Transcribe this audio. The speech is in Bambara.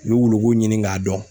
wuluko ɲini k'a dɔn.